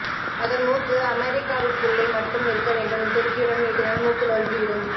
அதன் மூக்கு அமெரிக்காவுக்குள்ளே மட்டும் இருக்க வேண்டும் துருக்கியிடம் நீட்டினால் மூக்கு நொறுங்கிடும்